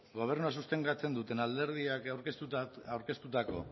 gobernua sostengatzen duten alderdiak aurkeztutako